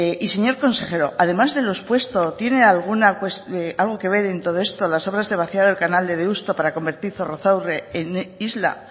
y señor consejero además de lo expuesto tiene alguna cuestión algo que ver en todo esto las obras de vaciado del canal de deusto para convertir zorrozaurre en isla